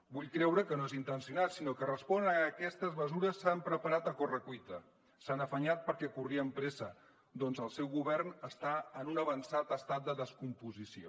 vull creure que no és intencionat sinó que respon a que aquestes mesures s’han preparat a correcuita s’hi han afanyat perquè corrien pressa perquè el seu govern està en un avançat estat de descomposició